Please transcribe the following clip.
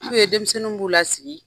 B'u ye denmisɛnninw b'u lasigi.